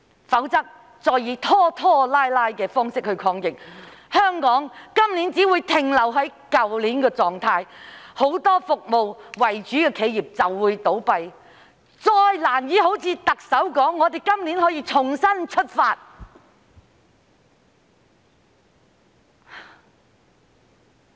如果再以拖拖拉拉的方式抗疫，香港今年只會停留在去年的狀態，很多以提供服務為主的企業便會倒閉，本港再難以像特首所說，在今年重新出發。